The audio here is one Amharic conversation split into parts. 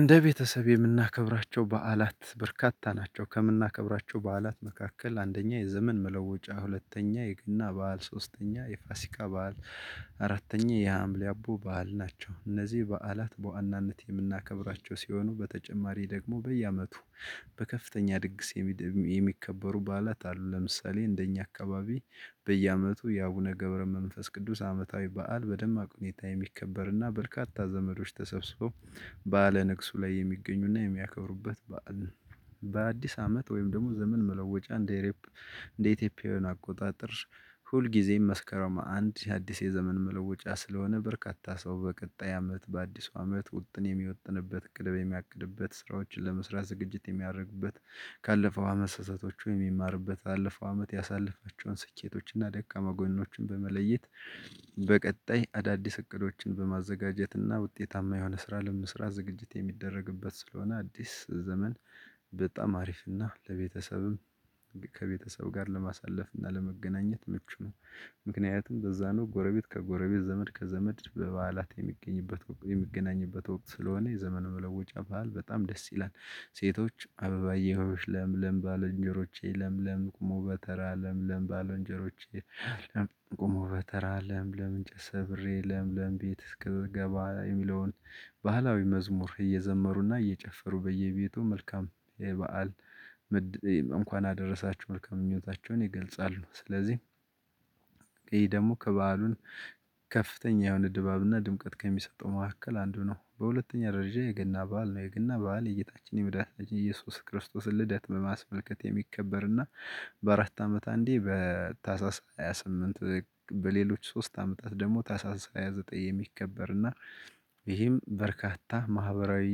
እንደ ቤተሰብ የምናከብራቸው በዓላት በርካታ ናቸው ከምናከብራቸው በዓላት መካከል አንደኛ የዘመን መለወጫ ሁለተኛ የግና በዓል ሶስተኛ የፋሲቃ በዓል አራተኛ የሀምሌ አቦ በዓል ናቸው። እነዚህ በዓላት በዋናነት የምናከብራቸው ሲሆኑ በተጨማሪ ደግሞ በየአመቱ በከፍተኛ ድግስ የሚከበሩ በዓላት አሉ። ለምሳሌ እንደኛ አካባቢ በየአመቱ የአቡነ ገብረ መንፈስ ቅዱስ አመታዊ በዓል በደማቅ ሁኔታ የሚከበርና በርካታ ዘመዶች ተሰብስበው ባለ ንግሱ ላይ የሚገኙና የሚያከብሩበት በዓል። በአዲስ አመት ወይም ደግሞ ዘመን መለወጫ። እንደ ኢትዮጵያዊ አቆጣጠር ሁልጊዜም መስከረም አንድ የአዲስ የዘመን መለወጫ ስለሆነ በርካታ ሰው በቀጣይ አመት በአዲሱ አመት ውጥን የሚወጥንበት ቅደብ የሚያቅድበት ስራዎችን ለመስራት ዝግጅት የሚያደርግበት። የሚያደርጉበት ካለፈው አመት ህዝቦች ወይም የሚማርበት አለፈው አመት ያሳለፈችውን ስኬቶችን እና ደቀማ ጎኖችን በመለየት። በቀጣይ አዳዲስ እቅዶችን በማዘጋጀትና ውጤታማ የሆነ ስራ ለምስራት ዝግጅት የሚደረግበት ስለሆነ አዲስ ዘመን። በጣም አሪፍና ለቤተሰብም ከቤተሰብ ጋር ለማሳለፍ እና ለመገናኘት ምቹ ነው። ምክንያቱም በዛ ነው ጎረቤት ከጎረቤት ዘመድ ከዘመድ በበዓላት የሚገኝበት የሚገናኝበት ወቅት ስለሆነ የዘመን መለወጫ በዓል በጣም ደስ ይላል። ሴቶች አበባዬ ሀይሎች ለምለም ባለንጀሮቼ ለምለም ቆሞ በተራ ለምለም ባለንጀሮቼ ለምለም ቆሞ በተራ ለም አንቸት ሰብሬ ለም ለም ቤት እስክትገባ የሚለውን ባህላዊ መዝሙር እየዘመሩና እየጨፈሩ በየቤቱ መልካም ይሄ በዓል። እንኳን አደረሳችሁ መልካም ምኞታቸውን ይገልጻሉ። ስለዚህ ይሄ ደግሞ ከበዓሉን ከፍተኛ የሆነ ድባብና ድምቀት ከሚሰጠው መካከል አንዱ ነው። በሁለተኛ ደረጃ የገና በዓል ነው። የገና በዓል የእይታችን የምድራችን ኢየሱስ ክርስቶስን ልደት በማስመልከት የሚከበር እና በአራት አመት አንዴ በታሳስ ሃያ ስምንት በሌሎች ሶስት አመታት ደግሞ ታሳስ ዘጠኝ የሚከበር። እና ይህም በርካታ ማህበራዊ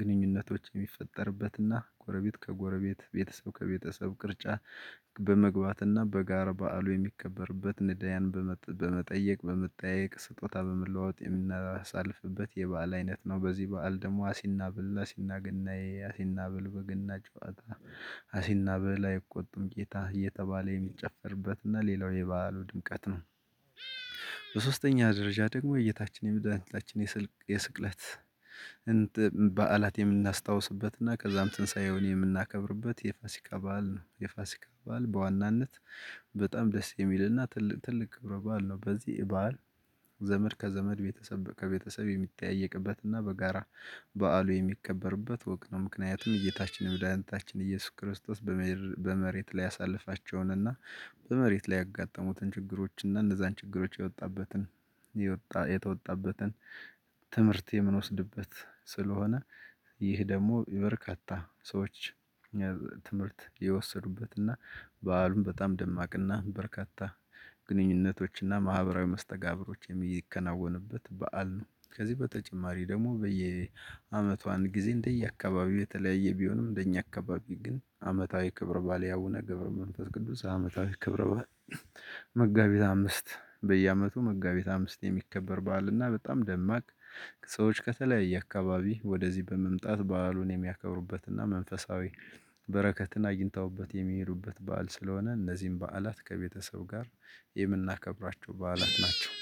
ግንኙነቶች የሚፈጠርበትና ጎረቤት ከጎረቤት ቤተሰብ ከቤተሰብ ቅርጫ በመግባትና በጋር በዓሉ የሚከበርበት ንዳያን በመጠየቅ በመጠየቅ ስጦታ በመለዋወጥ የምናሳልፍበት የበአል አይነት ነው። በዚህ በዓል ደግሞ አሲና ብላ አሲና ገናዬ አሲና ብል በገና ጨዋታ አሲና ብል አይቆጥም ጌታ እየተባለ የሚጨፈርበት እና ሌላው የባህሉ ድምቀት ነው። በሶስተኛ ደረጃ ደግሞ እይታችን የምድራችን የስልክ የስቅለት በዓላት የምናስታውስበት እና ከዛም ትንሳኤውን የምናከብርበት የፋሲካ በዓል ነው። የፋሲካ በዓል በዋናነት በጣም ደስ የሚልና ትልቅ ክብረ በዓል ነው። በዚህ በዓል ዘመድ ከዘመድ ቤተሰብ ከቤተሰብ የሚታየቅበት እና በጋራ በዓሉ የሚከበርበት ወቅት ነው። ምክንያቱም እይታችን የመዳንንታችን ኢየሱስ ክርስቶስ በመሬት ላይ ያሳለፋቸውን እና በመሬት ላይ ያጋጠሙትን ችግሮች እና እነዛን ችግሮች የወጣበትን የተወጣበትን ትምህርት የምንወስድበት ስለሆነ። ይህ ደግሞ በርካታ ሰዎች ትምህርት የወሰዱበት እና በዓሉም በጣም ደማቅና በርካታ ግንኙነቶችና ማህበራዊ መስተጋብሮችም እየተከናወንበት በዓል ነው። ከዚህ በተጨማሪ ደግሞ በየአመቷን ጊዜ እንደየአካባቢው የተለያየ ቢሆንም እንደኛ አካባቢ ግን አመታዊ ክብር ባልያውነ ገብረ መንፈስ ቅዱስ አመታዊ ክብር ባል። መጋቢት አምስት በየአመቱ መጋቢት አምስት የሚከበር በዓልና በጣም ደማቅ ሰዎች ከተለያየ አካባቢ ወደዚህ በመምጣት በዓሉን የሚያከብሩበትና መንፈሳዊ በረከትን አይንተውበት የሚሄዱበት በዓል ስለሆነ። እነዚህን በዓላት ከቤተሰብ ጋር የምናከብራቸው በዓላት ናቸው።